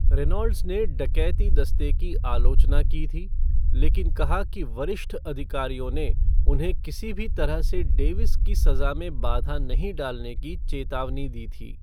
Reynolds ने डकैती दस्ते की आलोचना की थी, लेकिन कहा कि वरिष्ठ अधिकारियों ने उन्हें किसी भी तरह से डेविस की सज़ा में बाधा नहीं डालने की चेतावनी दी थी।